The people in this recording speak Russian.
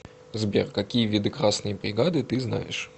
сбер какие виды красные бригады ты знаешь